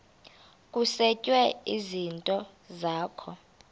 kusetshwe izinto zakho